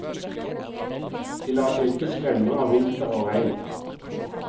De lar seg ikke skremme av vinter og regn.